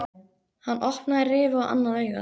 Hann opnaði rifu á annað augað.